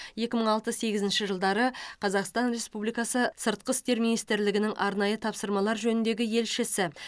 екі мың алты сегізінші жылдары қазақстан республикасы сыртқы істер министрлігінің арнайы тапсырмалар жөніндегі елшісі